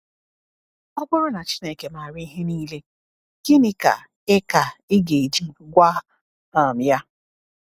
Ọ bụrụ na Chineke maara ihe niile, gịnị ka ị ka ị ga-eji gwa um Ya?